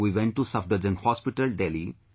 We went to Safdarjung Hospital, Delhi